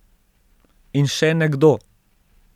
In še nekdo ...